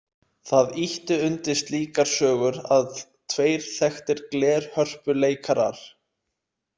Það ýtti undir slíkar sögur að tveir þekktir glerhörpuleikarar.